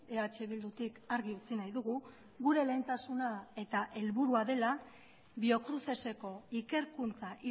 eh bildutik argi utzi nahi dugu gure lehentasuna eta helburua dela biocruceseko ikerkuntza